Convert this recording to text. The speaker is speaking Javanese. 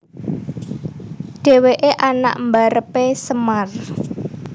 Dhèwèké anak mbarepé Semar